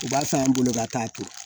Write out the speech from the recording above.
U b'a san an bolo ka taa to